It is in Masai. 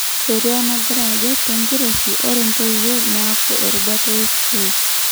Sheria nagira ajo tenkiroshi ore ntoiwuo niaku erubata e sukul.